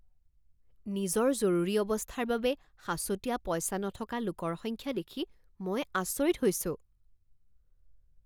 নিজৰ জৰুৰী অৱস্থাৰ বাবে সাঁচতীয়া পইচা নথকা লোকৰ সংখ্যা দেখি মই আচৰিত হৈছো।